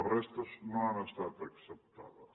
la resta no han estat acceptades